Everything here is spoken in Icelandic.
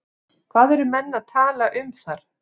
Hvað eru menn að tala um þar?